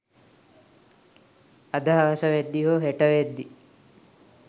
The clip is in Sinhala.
අද හවස වෙද්දි හෝ හෙට වෙද්දි